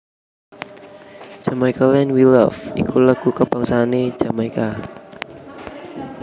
Jamaica Land We Love iku lagu kabangsané Jamaika